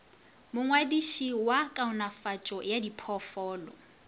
mongwadiši wa kaonafatšo ya diphoofolo